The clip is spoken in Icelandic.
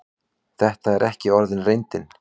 Þetta er ekki orðin reyndin.